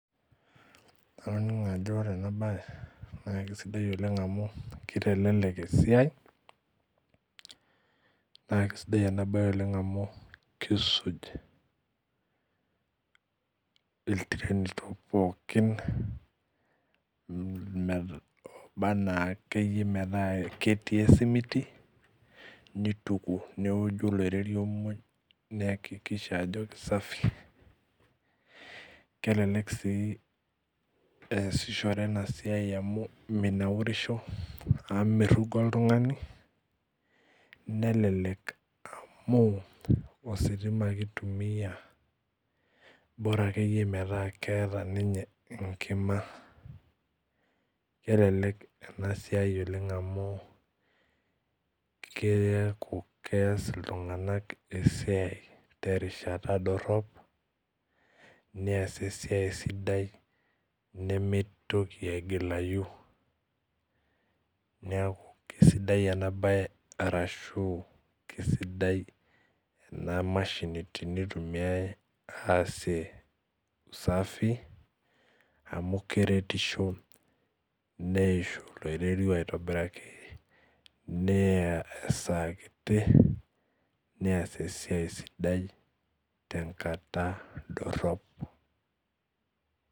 Adolta ajo ore enabae na kesidai oleng amu kitelek esiai na kisuj ilteriti polkiinora akeyie metaa ketii esimiti neoju olorerio pii niakikisha ajo kesafi kelelek si easishore enasia amu minaurisho oltungani nelelek amu ositima ake itumia bora akeyie metaa keeta enkima kelelek enasiai oleng amu keaku keas ltunganak esiai terishata dorop neas esiaia sidai nimitoki aigilayu neaku kesidai enabae amu kesidai enamashini tenitumiai aasie usafi amu keretisho neiahu olorwrio aitoniraki neya esaa kiti neas esiai tenkata dorop.